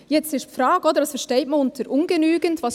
Jetzt ist die Frage, was man unter ungenügend versteht.